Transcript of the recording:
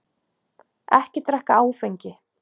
Ekki drekka áfengi.